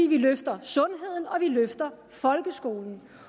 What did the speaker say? vi løfter sundheden og vi løfter folkeskolen